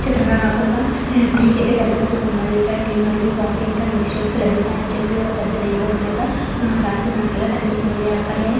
ఈ చిత్రం లో నాకు క టీ కెఫె కనిపిస్తూ ఉన్నదీ ఇక్కడ టీ మరియు కాఫీ ఇంకా మిల్క్ షేక్స్ లభిస్తాయి అని చెప్పి ఒక పెద్ద నేమ్ బోర్డు మీద రాసి ఉన్నట్లుగా కనిపిస్తూ ఉంది అక్కడే--